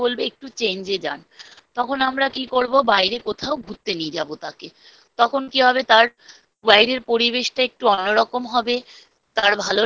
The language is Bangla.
ডাক্তার তাঁকে কী বলবে। একটু change এ যান। তখন আমরা কী করব বাইরে কোথাও ঘুরতে নিয়ে যাব তাকে তখন কী হবে তার বাইরে পরিবেশটা একটু অন্য রকম হবে, তার ভালো লাগবে